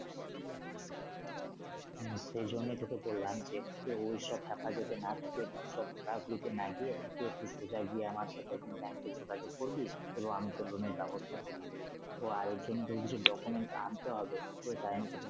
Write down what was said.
হম সেই জন্যই তোকে বললাম যে ওইসব ফ্যাপা যাতে না থাকে তাহলে সব না গিয়ে সোজা গিয়ে আমার সাথে ব্যাংকে যোগাযোগ করবি এবং আমি তোর loan এর ব্যবস্থা করিয়ে দিবো তো আর এজন্য কিছু document আনতে হবে সেই কাহিনি তো তোকে।